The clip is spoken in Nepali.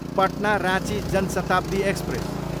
पटना, राँची जन शताब्दी एक्सप्रेस